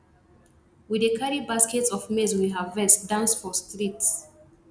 we dey carry baskets of maize we harvest dance for streets